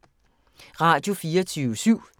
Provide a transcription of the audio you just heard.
Radio24syv